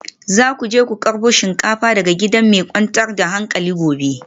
Za ku je ku karbo shinkafar daga gida mai kwantar da hankali gobe